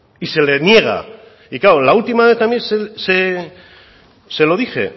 y se le niega y claro la última vez también se lo dije